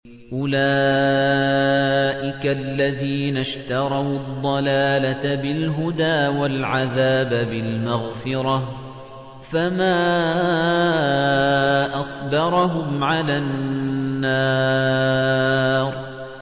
أُولَٰئِكَ الَّذِينَ اشْتَرَوُا الضَّلَالَةَ بِالْهُدَىٰ وَالْعَذَابَ بِالْمَغْفِرَةِ ۚ فَمَا أَصْبَرَهُمْ عَلَى النَّارِ